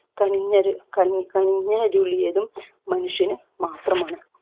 കനിഞ്ഞരു കണി കനിഞ്ഞരുളിയതും മനുഷ്യന് മാത്രമാണ്